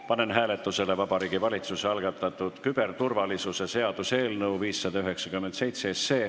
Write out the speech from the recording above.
Panen hääletusele Vabariigi Valitsuse algatatud küberturvalisuse seaduse eelnõu 597.